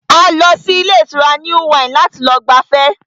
A lọ sí ilé ìtura New Wine láti lọ gbafẹ́